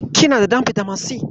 Kina da ɗan bitamin si?